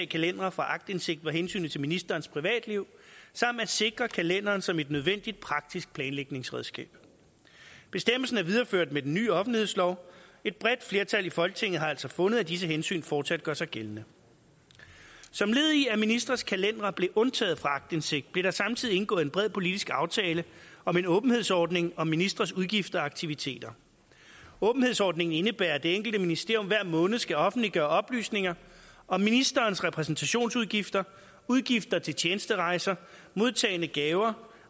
kalendere fra aktindsigt var hensynet til ministerens privatliv samt at sikre kalenderen som et nødvendigt praktisk planlægningsredskab bestemmelsen er videreført med den nye offentlighedslov et bredt flertal i folketinget har altså fundet at disse hensyn fortsat gør sig gældende som led i at ministres kalendere blev undtaget fra aktindsigt blev der samtidig indgået en bred politisk aftale om en åbenhedsordning om ministres udgifter og aktiviteter åbenhedsordningen indebærer at det enkelte ministerium hver måned skal offentliggøre oplysninger om ministerens repræsentationsudgifter udgifter til tjenesterejser modtagne gaver